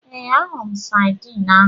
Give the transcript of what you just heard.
Ee, ahụrụ m sadiin ahu.